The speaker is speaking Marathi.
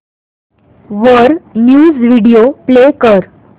वर न्यूज व्हिडिओ प्ले कर